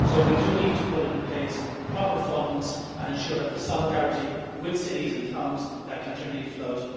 So we do need to put in place proper funds and ensure that there is solidarity with cities and towns that continually flood.